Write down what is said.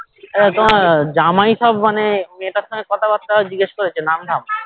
তোমার জামাই সব মানে মেয়েটার সঙ্গে কথা বার্তা জিজ্ঞাসা করেছে নাম ধাম